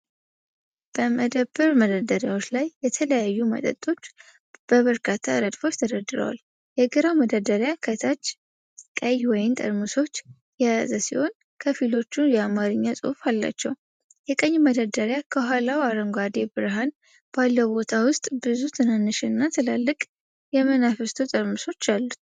በመደብር መደርደሪያዎች ላይ የተለያዩ መጠጦች በበርካታ ረድፎች ተደርድረዋል። የግራው መደርደሪያ ከታች ቀይ ወይን ጠርሙሶችን የያዘ ሲሆን፣ ከፊሎቹ የአማርኛ ጽሑፍ አላቸው። የቀኝ መደርደሪያ ከኋላው አረንጓዴ ብርሃን ባለው ቦታ ውስጥ ብዙ ትናንሽና ትላልቅ የመናፍስቱ ጠርሙሶች አሉት።